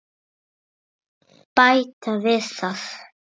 Bæta við það.